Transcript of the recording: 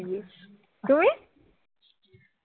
তুমি?